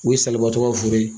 O ye salibatɔ ka foro ye.